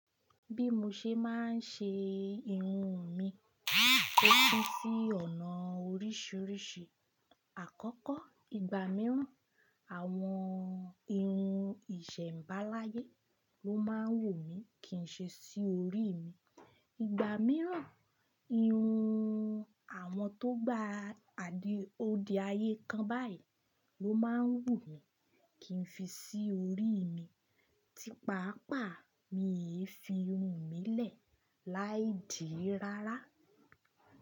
Bí mo ṣe máa ń ṣe irun mi, ó pin sí ọ̀nà oríṣiríṣi. Àkọ́kọ́, ìgbà mìíràn, àwọn irun ìṣẹ̀mbaláyé ló máa ń wù mí kì í ṣe sí orí mi. Ìgbà mìíràn, irun àwọn tó gba àdìó di ayé kan báyìí ló máa ń wù mí kì í fi sí orí mi tí pàápàá mi yẹ fi irun mi lẹ̀ láì dìí rárá.